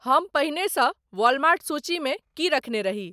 हम पहिने सँ वॉलमार्ट सूची मे की रखने रही।